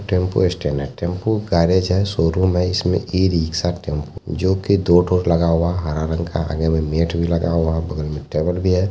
Tempo स्टेनर tempo garage है showroom है इसमे ई रिक्शा टेम्पो जो की दो ठो लगा हुआ है हरा रंग का मैट भी लगा हुआ है बगल मे टेबल हैं।